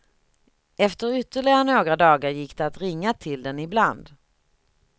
Efter ytterligare några dagar gick det att ringa till den ibland.